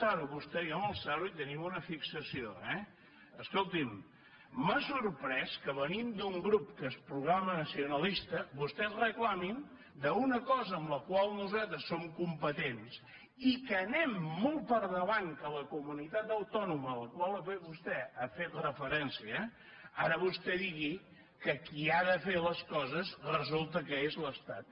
home vostè i jo amb el psaru hi tenim una fixació eh escolti’m m’ha sorprès que venint d’un grup que es proclama nacionalista vostès reclamin una cosa en la qual nosaltres som competents i que anem molt per davant de la comunitat autònoma a la qual vostè ha fet referència ara vostè digui que qui ha de fer les coses resulta que és l’estat